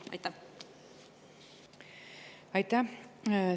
Aitäh!